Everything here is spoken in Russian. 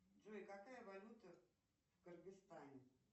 джой какая валюта в кыргызстане